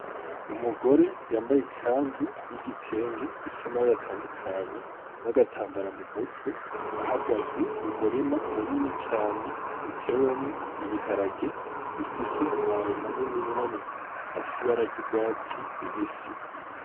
Umugore yambaye ikanzu y'igitenge ifisi amabore atandukanye n'agatambara mu mutwe ahagaze mu murima mu nini cane utewemwo ibiharage bifise amababi manini'manii afisi ibararya urwatsi lubisi.